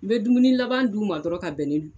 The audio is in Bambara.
N bɛ dumuni laban dun ma dɔrɔn ka bɛn ni.